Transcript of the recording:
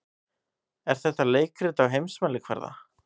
Er þetta leikrit á heimsmælikvarða?